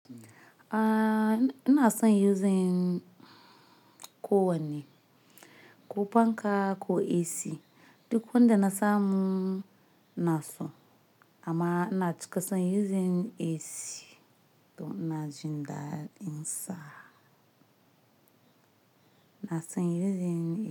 Aaa, ina son using ko wane, ko fanka ko AC duk wanda na samu na so amma ina cika son using AC to ina jinda in sa. Ina son using AC.